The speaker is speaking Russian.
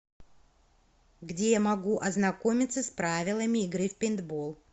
где я могу ознакомиться с правилами игры в пейнтбол